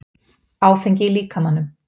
Áfengi í líkamanum